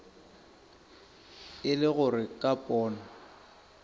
e le gore ka pono